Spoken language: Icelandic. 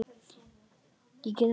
Ég get ekki hætt.